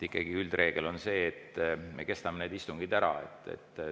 Ikkagi on üldreegel see, et me kestame istungite.